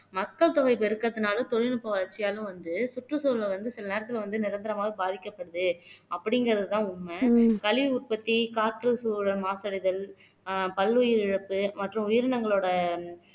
மக்கள் தொகை பெருக்கத்துனால தொழில்நுட்ப வளர்ச்சியாலும் வந்து சுற்றுச்சூழலை வந்து சில நேரத்துல வந்து நிரந்தரமாக பாதிக்கபடுது அப்படிங்கறதுதான் உண்மை கழிவு உற்பத்தி காற்று சூழல் மாசடைதல் பல்லுயிரிழப்பு மற்றும் உயிரினங்களோட